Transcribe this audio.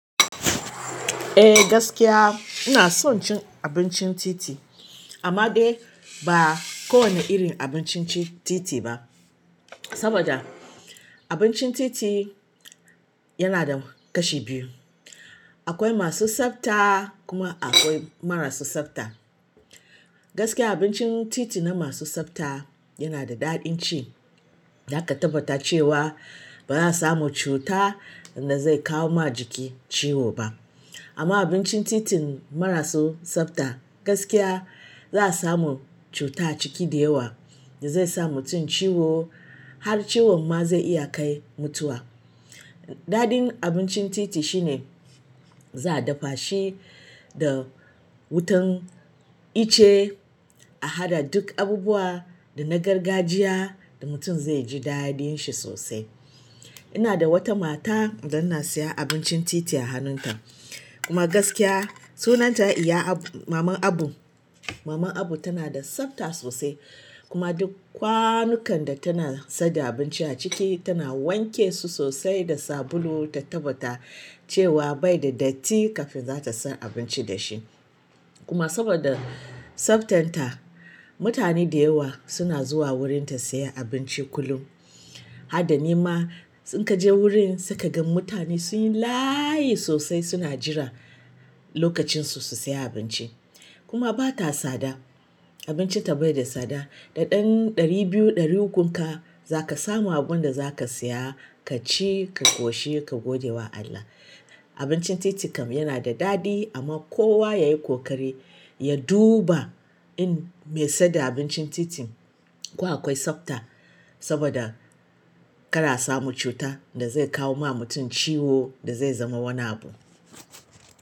Eh gaskiya ina son cin abincin titi, amma dai ba kowane irin abincin ci- titi ba. Saboda abincin titi yana da kashi biyu. Akwai masu tsafta kuma akwai marasa tsafta. Gaskiya abincin titi na masu tsafta yana da daɗin ci. Zaka tabbata cewa baza'a samu cuta da zai kawo ma jiki ciwo ba. Amma abincin titin marasa tsafta gaskiya za'a samu cuta a ciki da yawa da zai sa mutum ciwo har ciwon ma zai iya kai mutuwa. Daɗin abincin titi shine za'a dafa shi da wutan ice a haɗa duk abubuwa da na gargajiya da mutum zai ji daɗin shi sosai. Ina da wata mata da ina siyan abincin titi a wajenta kuma gaskiya sunanta iya abu-- maman abu. Maman abu tana da tsafta sosai kuma duk kwanukan da tana saida abinci a ciki tana wanke su sosai da sabulu ta tabbata cewa bai da datti kafin za ta sa abinci da shi. Kuma saboda tsaftan ta, mutane da yawa suna zuwa wurin ta siya abinci kullum. Haɗa ni ma in ka je wurin sai ka ga mutane sunyi layi sosai suna jira lokacin su, su siya abinci. Kuma bata tsada, abincinta baida tsada da ɗan ɗari biyu ɗari uku ka, za ka samu abun da za ka siya ka ci, ka ƙoshi ka gode wa Allah. Abincin titi kam yana da daɗi amma kowa yayi ƙoƙari ya duba in mai saida abincin titi ko akwai tsafta saboda kar a samu cuta da zai kawo ma mutum ciwo da zai zama wani abu.